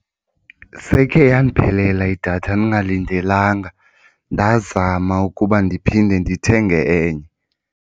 Sekhe yandiphelela idatha ndingalindelanga ndazama ukuba ndiphinde ndithenge enye.